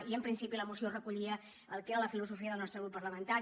i en principi la moció recollia el que era la filosofia del nostre grup parlamentari